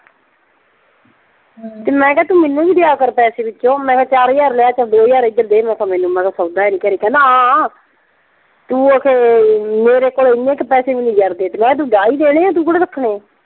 ਤੇ ਮੈਂ ਕਿਹਾ ਤੂੰ ਮੈਨੂੰ ਵੀ ਦਿਆ ਕਰ ਪੈਸੇ ਵਿੱਚੋਂ ਮੈਂ ਕਿਹਾ ਚਾਰ ਹਜਾਰ ਲਿਆ ਤਾਂ ਦੋ ਹਜਾਰ ਇਧਰ ਦੇ ਮਖਾ ਮੈਨੂੰ, ਮਖਾ ਸੌਦਾ ਹੈ ਨਈਂ ਘਰੇ। ਕਹਿੰਦਾ ਹਾਂ ਤੂੰ ਅਖ਼ੇ ਮੇਰੇ ਕੋਲ ਐਨੇ ਕੁ ਪੈਸੇ ਵੀ ਨਈਂ ਜ਼ਰਦੇ। ਮੈਂ ਕਿਹਾ ਤੂੰ ਉਜਾੜ ਈ ਦੇਣੇ ਆ ਤੂੰ ਕਿਹੜਾ ਰੱਖਣੇ ਆ।